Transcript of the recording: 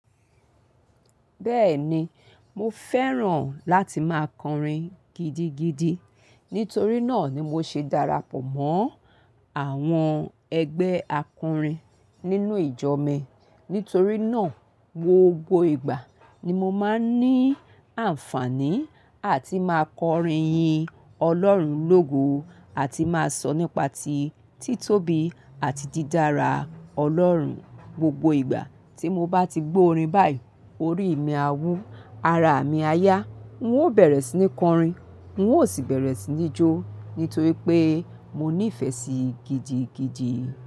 Bẹ́ẹ̀ni, mo fẹ́ràn láti máa kọrin gidigidi. Nítorí náà ni mo ṣe darapọ̀ mọ́ àwọn ẹgbẹ́ akọrin nínú ìjọ mi. Nítorí náà, gbogbo ìgbà ni mo máa ń ní àǹfààní àti máa kọrin yin Ọlọ́run lógo àti máa sọ nípa tí títóbi àti dídára Ọlọ́run. Gbogbo ìgbà tí mo bá ti gbórin báyìí, orí mi a wú, ara mi a yá, n ó bẹ̀rẹ̀ sí ní kọrin, n ó sì bẹ̀rẹ̀ sí ní jó. Nítorí pé mo ní ìfẹ́ sí i gidigidi.